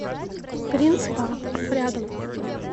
гринспарк рядом